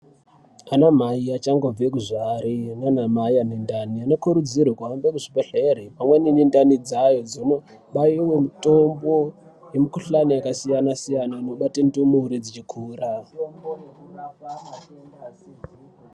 Ana mhai vachangobve kuzvare nanamhai vanendani vanokurudzirwa kuenda kuzvibhedhlera pamweni ngendani dzayo kubaiwe mitombo ngemikuhalani yakasiyana siyana inobate ndumure dzeikura .